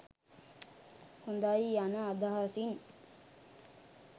හොඳයි යන අදහසින්